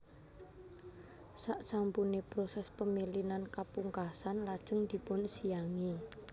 Saksampune proses pemilinan kapungkasan lajeng dipunsiangi